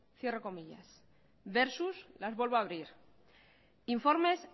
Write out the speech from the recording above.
versus informes